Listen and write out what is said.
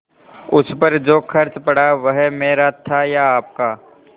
उस पर जो खर्च पड़ा वह मेरा था या आपका